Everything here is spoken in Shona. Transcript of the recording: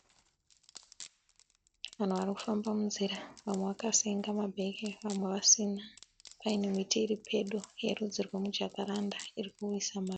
Vanhu vari kufamba munzira. Vamwe vakasenga mabheke vake vasina. Paine miti iri pedo yerudzi rwemujakaranda iri kuwisa maruva.